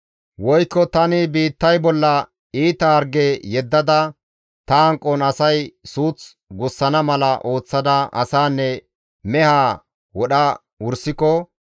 «Woykko tani biittay bolla iita harge yeddada, ta hanqon asay suuth gussana mala ooththada asaanne mehaa wodha wursiko,